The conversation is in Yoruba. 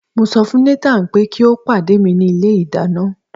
mo so fún Nathan pe ki o pade mi ni ilé ìdáná